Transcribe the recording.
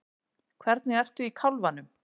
Hvernig ertu í kálfanum?